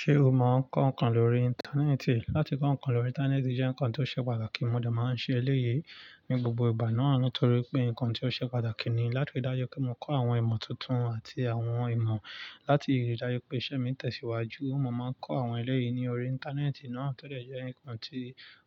Ṣé o mọ ọ kọ ǹkan lórí Íńtánẹ́ẹ̀tì? Látí kọ ǹkan lórí Íńtánẹ́ẹ̀tì jẹ́ ǹkan tí ó ṣe pàtàkì. Mo dẹ̀ máa ń ṣe èléyìí ní gbogbo ìgbà náà nítorí pé ǹkan tí ó ṣe pàtàkì ni. Látí rí dájú pé mo kọ àwọn ìmọ̀ tuntun àti àwọn ìmọ̀, látí rí dájú pé iṣẹ́ mi ń tẹ̀síwájú, mo máa ń kọ àwọn eléyìí ní orí Íńtánẹ́ẹ̀tì náà tó lè jẹ́ ǹkan tí